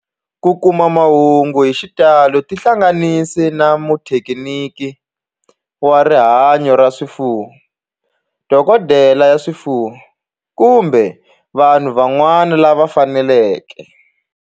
Ku kuma mahungu hi xitalo tihlanganisi na muthekiniki wa rihanyo ra swifuwo, dokodela ya swifuwo, kumbe vanhu van'wana lava fanelekeke